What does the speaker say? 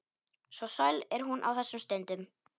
Svo sæl er hún á þessum stundum.